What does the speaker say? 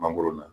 Mangoro na